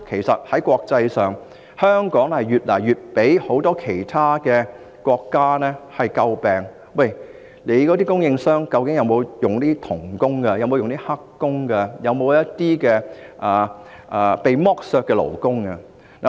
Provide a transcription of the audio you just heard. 在國際上，香港越來越為其他國家所詬病，他們會問，"你們的供應商究竟有否聘用'童工'、'黑工'或一些被剝削的勞工？